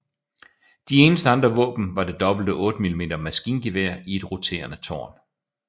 De eneste andre våben var det dobbelte 8mm maskingevær i et roterende tårn